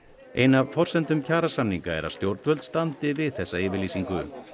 ein af forsendum kjarasamninga er að stjórnvöld standi við þessa yfirlýsingu